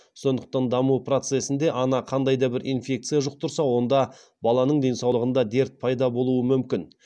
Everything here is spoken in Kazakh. сондықтан даму процесінде ана қандай да бір инфекция жұқтырса онда баланың денсаулығында дерт пайда болуы мүмкін